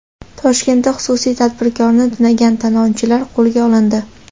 Toshkentda xususiy tadbirkorni tunagan talonchilar qo‘lga olindi.